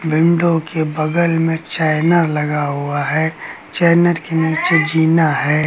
Window के बगल में चैना लगा हुआ है चैनर के नीचे जीना है।